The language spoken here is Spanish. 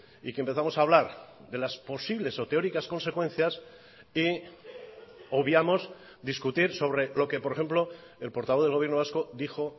y que empezamos a hablar de las posibles o teóricas consecuencias y obviamos discutir sobre lo que por ejemplo el portavoz del gobierno vasco dijo